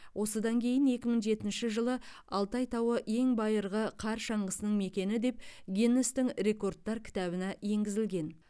осыдан кейін екі мың жетінші жылы алтай тауы ең байырғы қар шаңғысының мекені деп гиннестің рекордтар кітабына енгізілген